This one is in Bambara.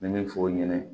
N bɛ min fɔ o ɲɛna